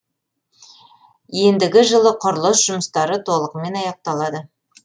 ендігі жылы құрылыс жұмыстары толығымен аяқталады